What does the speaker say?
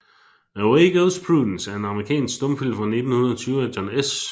Away Goes Prudence er en amerikansk stumfilm fra 1920 af John S